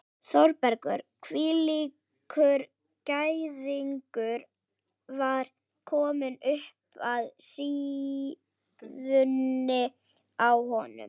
Þórbergur hvílíkur gæðingur var kominn upp að síðunni á honum?